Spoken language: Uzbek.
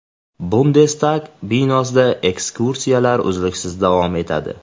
Bundestag binosida ekskursiyalar uzluksiz davom etadi.